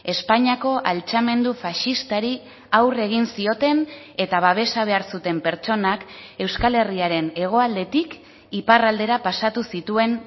espainiako altxamendu faxistari aurre egin zioten eta babesa behar zuten pertsonak euskal herriaren hegoaldetik iparraldera pasatu zituen